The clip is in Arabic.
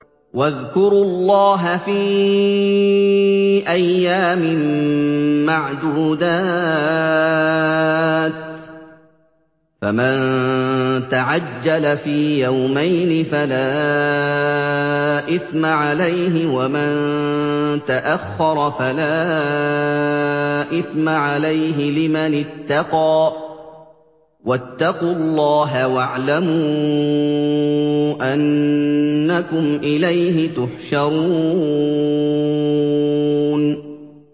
۞ وَاذْكُرُوا اللَّهَ فِي أَيَّامٍ مَّعْدُودَاتٍ ۚ فَمَن تَعَجَّلَ فِي يَوْمَيْنِ فَلَا إِثْمَ عَلَيْهِ وَمَن تَأَخَّرَ فَلَا إِثْمَ عَلَيْهِ ۚ لِمَنِ اتَّقَىٰ ۗ وَاتَّقُوا اللَّهَ وَاعْلَمُوا أَنَّكُمْ إِلَيْهِ تُحْشَرُونَ